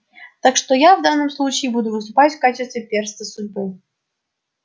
так что я в данном случае буду выступать в качестве перста судьбы